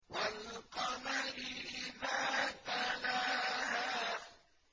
وَالْقَمَرِ إِذَا تَلَاهَا